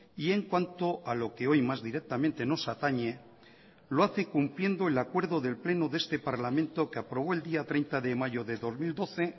y en cuanto a lo que hoy más directamente nos atañe lo hace cumpliendo el acuerdo del pleno de este parlamento que aprobó el día treinta de mayo de dos mil doce